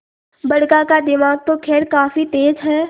बड़का का दिमाग तो खैर काफी तेज है